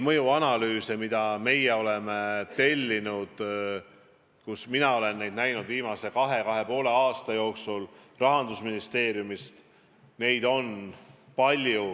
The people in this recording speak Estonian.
Mõjuanalüüse, mida me oleme viimase kahe või kahe ja poole aasta jooksul Rahandusministeeriumist tellinud, on olnud palju.